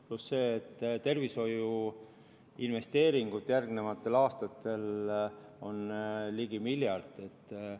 Pluss see, et tervishoidu investeeritakse järgnevatel aastatel ligi miljard eurot.